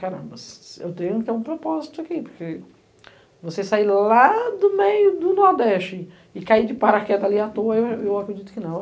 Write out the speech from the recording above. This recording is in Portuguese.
Caramba, eu tenho que ter um propósito aqui, porque você sair lá do meio do Nordeste e cair de paraquedas ali à toa, eu eu eu acredito que não.